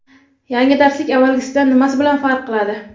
Yangi darslik avvalgisidan nimasi bilan farq qiladi:.